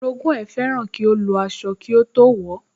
Orogún ẹ̀ fẹ́ràn kí ó lọ aṣọ kí ó tó wọ̀ ọ́